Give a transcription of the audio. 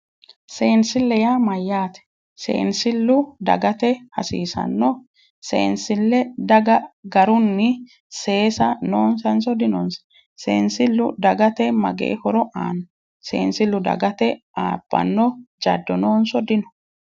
Seensille yaa mayyaate? seensillu dagate hasiisanno? seensillu daga garunnib seesa noonsanso dinonsa. seensillu dagate magee horo aanno? seensillu dagate abbanno jaddo noonso dino?